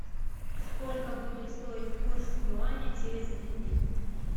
сколько будет стоить курс юаня через один день